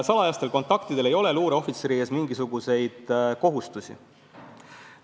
Salajastel kontaktidel ei ole luureohvitseri ees mingisuguseid kohustusi.